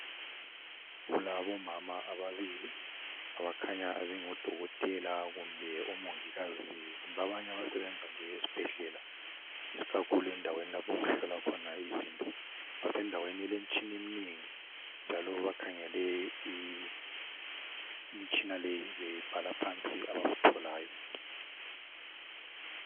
Kulabo mama ababili abakhanya bengodokotela kumbe omongikazi kumbe abanye abasebenza nje esibhedlela ikakhulu endaweni lapho okuhlolwa khona izinto basendaweni elemitshina eminengi njalo bakhangele imitshina leyi bebhala phansi abakutholayo.